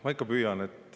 Ma ikka püüan.